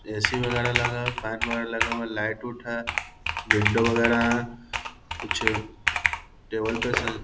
AC. वगेरा लगा हुआ है फैन वगेरा लगा हुआ है लाइट उट है कुछ विंडो वगेरा है कुछ टेबल पे से --